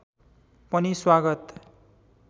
पनि स्वागत